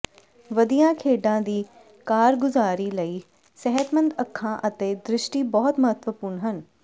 ਵਧੀਆ ਖੇਡਾਂ ਦੀ ਕਾਰਗੁਜ਼ਾਰੀ ਲਈ ਸਿਹਤਮੰਦ ਅੱਖਾਂ ਅਤੇ ਦ੍ਰਿਸ਼ਟੀ ਬਹੁਤ ਮਹੱਤਵਪੂਰਣ ਹਨ